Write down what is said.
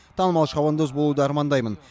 танымал шабандоз болуды армандаймын